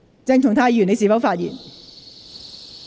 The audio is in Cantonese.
鄭松泰議員，你是否發言？